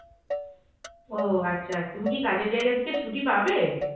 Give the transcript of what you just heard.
ও আচ্ছা আচ্ছা। তুমি কি কাজের জায়গা থেকে ছুটি পাবে